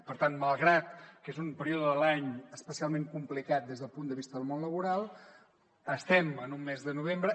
per tant malgrat que és un període de l’any especialment complicat des del punt de vista del món laboral estem en un mes de novembre